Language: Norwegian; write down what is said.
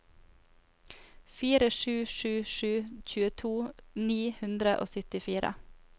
fire sju sju sju tjueto ni hundre og syttifire